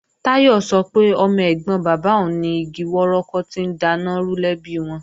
Táyọ̀ sọ pé ọmọ ẹ̀gbọ́n bàbá òun ni igi wọ́rọ́kọ́ tó ń daná rú lẹ́bi wọn